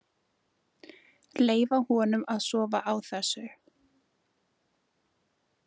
Leyfa honum að sofa á þessu.